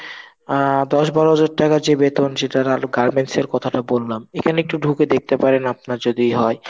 অ্যাঁ দশ বারো হাজার টাকা যে বেতন সেটার Garments কথাটা বললাম এখানে একটু ঢুকে দেখতে পারেন আপনার যদি হয়.